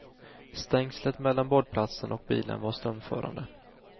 Stängslet mellan badplatsen och bilen var strömförande.